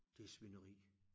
Det svineri